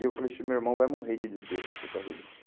E eu falei assim, meu irmão vai morrer de desgosto por causa disso.